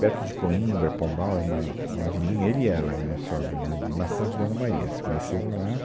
Perto de Coimbra, Pombal, era uma, uma vilinha, ele e ela, minha sogra, né, de Maçãs de Dona Maria, se conheceram lá